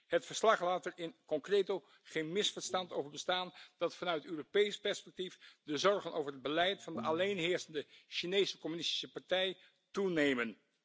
Het verslag laat er in concreto geen misverstand over bestaan dat vanuit Europees perspectief de zorgen over het beleid van de alleenheersende Chinese Communistische Partij toenemen.